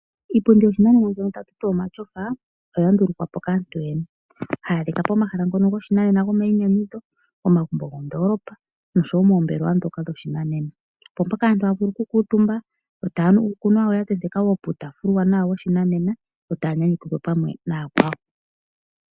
Iipundi yoshinanena mbyoka ta tuti omashofa oya ndulukwa po kaantu yoyene. Haya adhika pomahala ngono goshinanena gomayi nyanyudho, omagumbo gomondoolopa noshowo moombelewa dhoka dhoshinanena. Opo mpoka aantu haavulu oku kuutumba yo taanu uukunwa wawo ya tenteka wo puutafula uuwanwa woshinanena yo taa nyanyukilwa pamwe naya kwawo.